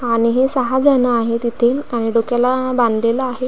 आणि हे सहाजण आहेत तिथे आणि डोक्याला बांधलेल आहे.